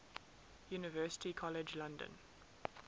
university college london